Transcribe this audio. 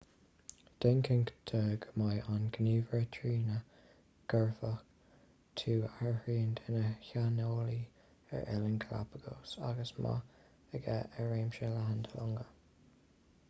déan cinnte de go mbeidh an gníomhaire trína gcuirfidh tú áirithint ina shaineolaí ar oileáin galápagos agus eolas maith aige ar réimse leathan de longa